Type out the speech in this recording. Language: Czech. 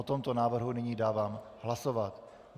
O tomto návrhu nyní dávám hlasovat.